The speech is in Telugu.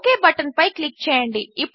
ఒక్ బటన్పై క్లిక్ చేయండి